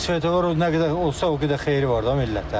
Svetofor nə qədər olsa, o qədər xeyiri var da millətə.